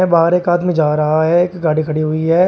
बाहर एक आदमी जा रहा है एक गाड़ी खड़ी हुई है।